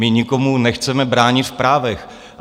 My nikomu nechceme bránit v právech.